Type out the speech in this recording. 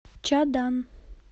чадан